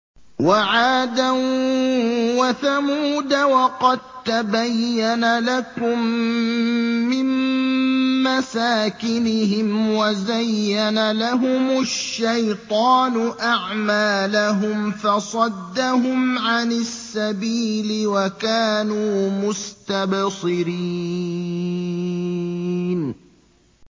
وَعَادًا وَثَمُودَ وَقَد تَّبَيَّنَ لَكُم مِّن مَّسَاكِنِهِمْ ۖ وَزَيَّنَ لَهُمُ الشَّيْطَانُ أَعْمَالَهُمْ فَصَدَّهُمْ عَنِ السَّبِيلِ وَكَانُوا مُسْتَبْصِرِينَ